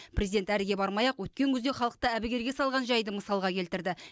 президент әріге бармай ақ өткен күзде халықты әбігерге салған жайды мысалға келтірді